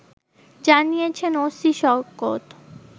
জানিয়েছেন ওসি শওকত